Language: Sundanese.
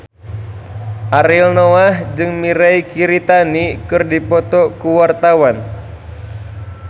Ariel Noah jeung Mirei Kiritani keur dipoto ku wartawan